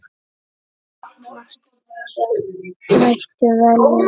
Margt fleira mætti telja.